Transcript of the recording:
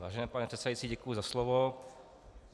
Vážený pane předsedající, děkuji za slovo.